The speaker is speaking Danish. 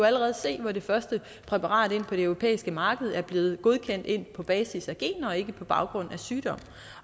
allerede se hvor det første præparat på det europæiske marked er blevet godkendt på basis af gener og ikke på baggrund af sygdom